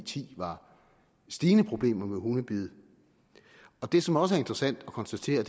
ti var stigende problemer med hundebid det som også er interessant at konstatere